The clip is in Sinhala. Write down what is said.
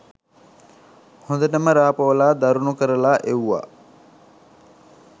හොඳටම රා පොවලා දරුණු කරලා එව්වා.